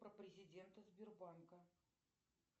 про президента сбербанка